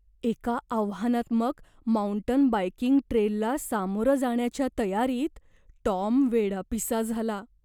एका आव्हानात्मक mountain biking ट्रेलला सामोरं जाण्याच्या तयारीत टॉम वेडापिसा झाला.